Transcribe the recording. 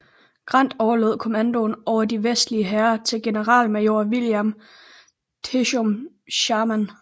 Grant overlod kommandoen over de vestlige hære til generalmajor William Tecumseh Sherman